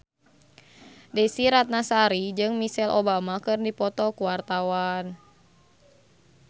Desy Ratnasari jeung Michelle Obama keur dipoto ku wartawan